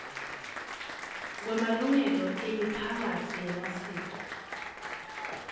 kwemalungelo emiphakatsi yemasiko